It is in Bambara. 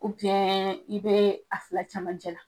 i bɛ a fila camancɛ la.